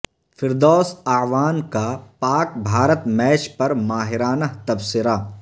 فردوس اعوان کا پاک بھارت میچ پر ماہرانہ تبصرہ